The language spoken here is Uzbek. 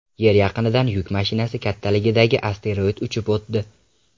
Yer yaqinidan yuk mashinasi kattaligidagi asteroid uchib o‘tdi.